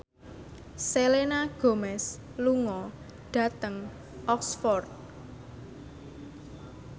Selena Gomez lunga dhateng Oxford